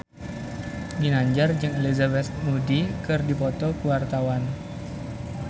Ginanjar jeung Elizabeth Moody keur dipoto ku wartawan